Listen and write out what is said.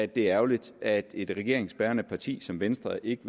det er ærgerligt at et regeringsbærende parti som venstre ikke